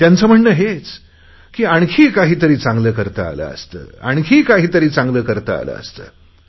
त्यांचे म्हणणे हेच की आणखी काहीतरी चांगले करता आले असते आणखी काहीतरी चांगले करता आले असते